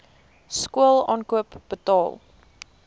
skool aankoop betaal